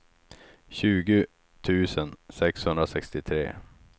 tjugo tusen sexhundrasextiotre